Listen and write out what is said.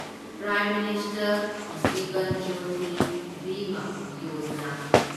prime minister Jeevan Jyoti Bima Yojana